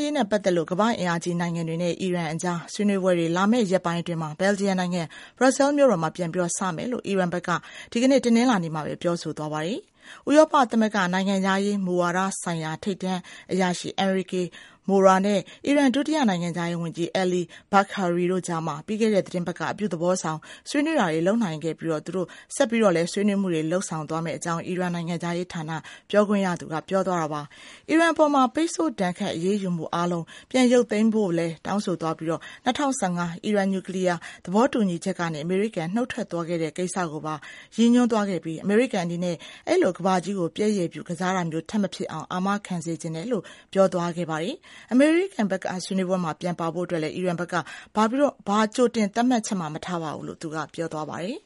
ရေးနဲ့ပတ်သက်လို့ ကမ္ဘာ့အင်အားကြီးနိုင်ငံတွေနဲ့ အီရန်အကြား ဆွေးနွေးပွဲတွေ လာမယ့်ရက်ပိုင်းတွေအတွင်း ဘယ်လ်ဂျီယံနိုင်ငံ ဘရက်ဆဲလ်မြို့တော်မှာ ပြန်စမယ်လို့ အီရန်ဘက်က ဒီကနေ့ တနင်္လာနေ့မှာပဲ ပြောဆိုသွားပါတယ်။ ဥရောပသမဂ္ဂ နိုင်ငံခြားရေးမူဝါဒဆိုင်ရာ ထိပ်တန်းအရာရှိ Enrique Mora နဲ့ အီရန် ဒုတိယ နိုင်ငံခြားရေးဝန်ကြီး Ali Bagheri တို့ကြား ပြီးခဲ့တဲ့သီတင်းပတ်က အပြုသဘောဆောင် ဆွေးနွေးတာတွေ လုပ်နိုင်ခဲ့ပြီး သူတို့ ဆက်ပြီးလည်း ဆွေးနွေးမှုတွေ ဆက်လုပ်သွားမယ့်အကြောင်း အီရန်နိုင်ငံခြားရေးဌာန ပြောခွင့်ရ Saeed Khatibzadeh က ပြောသွားတာပါ။ အီရန်အပေါ် ပိတ်ဆို့ဒဏ်ခတ် အရေးယူမှုအားလုံး ပြန်ရုပ်သိမ်းပေးဖို့လည်း တောင်းဆိုသွားခဲ့ပြီး ၂၀၁၅ အီရန် နျူကလီးယား သဘောတူညီချက်ကနေ အမေရိကန် နုတ်ထွက်သွားခဲ့တဲ့ကိစ္စကိုပါ ပြန် ရည်ညွှန်းသွားခဲ့ပြီး အမေရိကန်အနေနဲ့ အဲ့ဒီလို ကမ္ဘာကြီးကို ပျက်ရယ်ပြု ကစားတာမျိုး ထပ်မဖြစ်အောင် အာမခံစေချင်တယ်လို့ အီရန် ဒုဝန်ကြီးက ပြောသွားပါတယ်။ အမေရိကန်ဘက်က ဆွေးနွေးပွဲမှာ ပြန်ပါဖို့အတွက်လည်း အီရန်ဘက်က ဘာကြိုတင်သတ်မှတ်ချက်မှ မထားပါဘူးလို့ သူကပြောပါတယ်။